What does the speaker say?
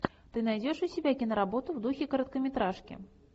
ты найдешь у себя киноработу в духе короткометражки